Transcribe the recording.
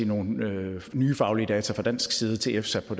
nogle nye faglige data fra dansk side til efsa